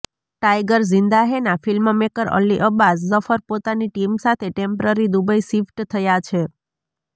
tiger Zinda હૈના filmmaker Ali Abbas Zafar પોતાની ટીમ સાથે ટેમ્પરરી દુબઈ શિફ્ટ થયા છે